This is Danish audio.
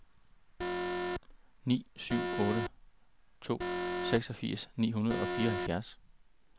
ni syv otte to seksogfirs ni hundrede og fireoghalvfjerds